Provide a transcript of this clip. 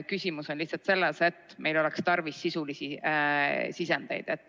Küsimus on lihtsalt selles, et meil oleks tarvis sisulisi sisendeid.